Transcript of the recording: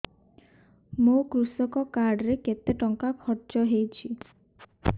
ମୋ କୃଷକ କାର୍ଡ ରେ କେତେ ଟଙ୍କା ଖର୍ଚ୍ଚ ହେଇଚି